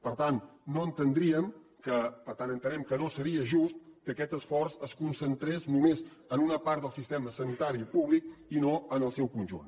per tant entenem que no seria just que aquest esforç es concentrés només en una part del sistema sanitari públic i no en el seu conjunt